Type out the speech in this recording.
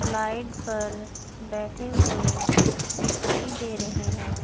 Flight पर बैठे हुए दिखाई दे रहे हैं।